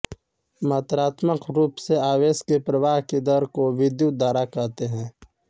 मात्रात्मक रूप से आवेश के प्रवाह की दर को विद्युत धारा कहते हैं